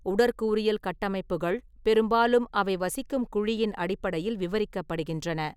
உடற்கூறியல் கட்டமைப்புகள் பெரும்பாலும் அவை வசிக்கும் குழியின் அடிப்படையில் விவரிக்கப்படுகின்றன.